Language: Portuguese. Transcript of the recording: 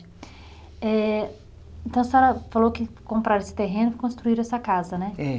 Eh então a senhora falou que compraram esse terreno e construíram essa casa, né? É